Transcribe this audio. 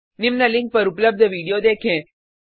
निम्न लिंक पर उपलब्ध वीडियो देखें